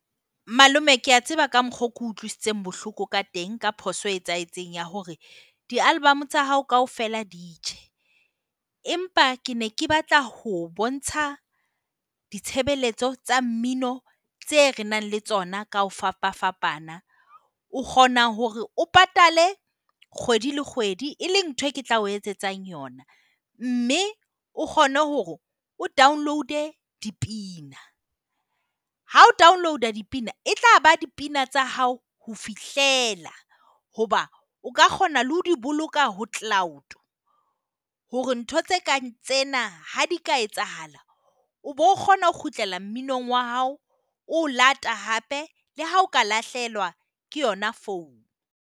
Malome ke a tseba ka mokgwa oo ke utlwisitseng bohloko ka teng ka phoso e etsahetseng ya hore di-album tsa hao kaofela di tjhe. Empa ke ne ke batla ho o bontsha ditshebeletso tsa mmino tse re nang le tsona ka ho fapafapana. O kgona hore o patale kgwedi le kgwedi, e leng ntho ke tla o etsetsang yona. Mme o kgone hore o download-e dipina. Ha o download-a dipina e tlaba dipina tsa hao ho fihlela. Hoba o ka kgona le ho di boloka ho cloud hore ntho tse kang tsena ha di ka etsahala o bo kgona ho kgutlela mminong wa hao. O o lata hape le ha o ka lahlehelwa ke yona phone.